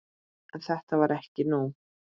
En þetta var ekki nóg.